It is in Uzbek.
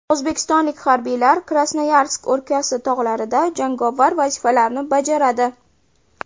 O‘zbekistonlik harbiylar Krasnoyarsk o‘lkasi tog‘larida jangovar vazifalarni bajaradi.